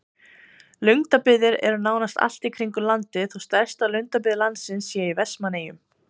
Lundabyggðir eru nánast allt í kringum landið þó stærsta lundabyggð landsins sé í Vestmannaeyjum.